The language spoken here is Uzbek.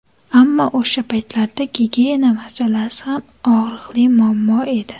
Ammo o‘sha paytlarda gigiyena masalasi ham og‘riqli muammo edi.